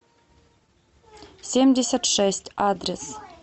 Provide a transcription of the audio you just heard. семьдесят шесть адрес